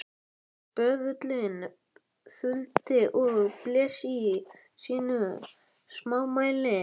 Böðullinn þuldi og blés í sínu smámæli: